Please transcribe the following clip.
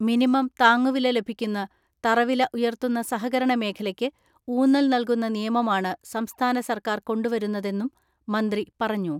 Minimum താങ്ങുവില ലഭിക്കുന്ന, തറവില ഉയർത്തുന്ന സഹകരണ മേഖലയ്ക്ക് ഊന്നൽ നൽകുന്ന നിയമമാണ് സംസ്ഥാന സർക്കാർ കൊണ്ടുവരുന്നതെന്നും മന്ത്രി പറഞ്ഞു.